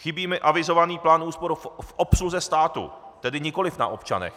Chybí mi avizovaný plán úspor v obsluze státu, tedy nikoli na občanech.